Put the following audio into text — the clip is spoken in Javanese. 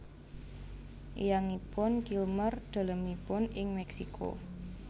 Eyangipun Kilmer dalemipun ing Meksiko